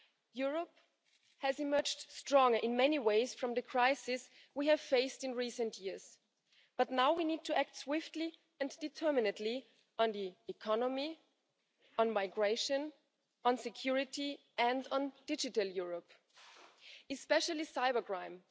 Europe has emerged stronger in many ways from the crisis we have faced in recent years, but now we need to act swiftly and determinedly on the economy, migration, security and digital Europe, especially cybercrime.